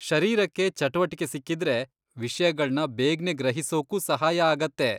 ಶರೀರಕ್ಕೆ ಚಟುವಟಿಕೆ ಸಿಕ್ಕಿದ್ರೆ ವಿಷ್ಯಗಳ್ನ ಬೇಗ್ನೇ ಗ್ರಹಿಸೋಕೂ ಸಹಾಯ ಆಗತ್ತೆ.